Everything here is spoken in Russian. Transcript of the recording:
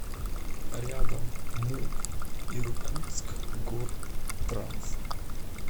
рядом муп иркутскгортранс